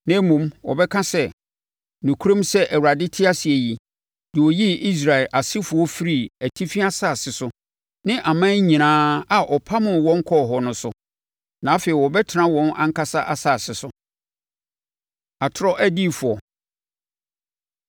na mmom, wɔbɛka sɛ, ‘Nokorɛm sɛ Awurade te ase yi, deɛ ɔyii Israel asefoɔ firii atifi asase so ne aman nyinaa a ɔpamoo wɔn kɔɔ hɔ no so.’ Na afei wɔbɛtena wɔn ankasa asase so.” Atorɔ Adiyifoɔ